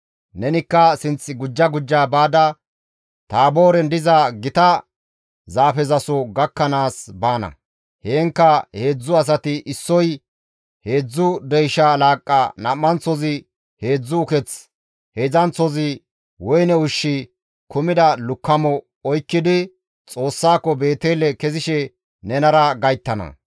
«Nenikka sinth gujja gujja baada Taabooren diza gita zaafezaso gakkanaas baana; heenkka heedzdzu asati issoy heedzdzu deysha laaqqa, nam7anththozi heedzdzu uketh, heedzdzanththozi woyne ushshi kumida lukkamo oykkidi Xoossaako Beetele kezishe nenara gayttana.